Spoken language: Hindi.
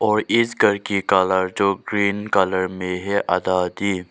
और इस घर की कलर जो ग्रीन कलर में है आधा अधि।